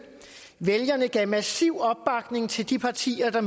vælgerne gav massiv opbakning til de partier der